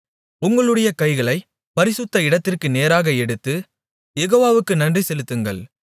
உங்களுடைய கைகளைப் பரிசுத்த இடத்திற்கு நேராக எடுத்து யெகோவாவுக்கு நன்றிசெலுத்துங்கள்